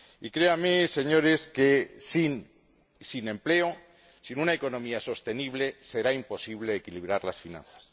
Créanme, señores, que, sin empleo, sin una economía sostenible, será imposible equilibrar las finanzas.